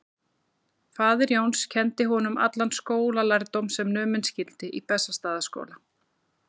Faðir Jóns kenndi honum allan skólalærdóm sem numinn skyldi í Bessastaðaskóla.